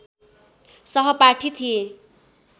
सहपाठी थिए